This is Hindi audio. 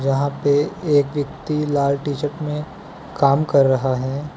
यहां पे एक व्यक्ति लाल टी शर्ट में काम कर रहा है।